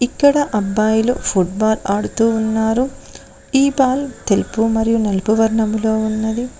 ఇక్కడ అబ్బాయిలు ఫుట్బాల్ ఆడుతూ ఉన్నారు ఈ బాల్ తెలుపు మరియు నలుపు వర్ణంలో ఉన్నది.